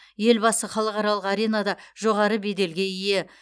елбасы халықаралық аренада жоғары белделге ие